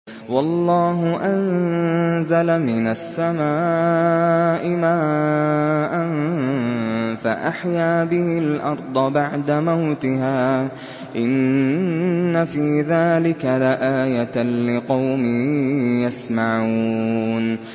وَاللَّهُ أَنزَلَ مِنَ السَّمَاءِ مَاءً فَأَحْيَا بِهِ الْأَرْضَ بَعْدَ مَوْتِهَا ۚ إِنَّ فِي ذَٰلِكَ لَآيَةً لِّقَوْمٍ يَسْمَعُونَ